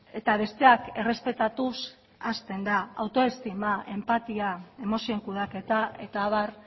eta besteak errespetatuz hasten da autoestima enpatia emozioen kudeaketa eta abar